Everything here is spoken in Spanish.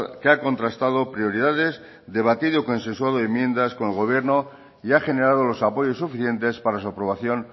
que ha contrastado prioridades debatido consensuado enmiendas con el gobierno y ha generado los apoyos suficientes para su aprobación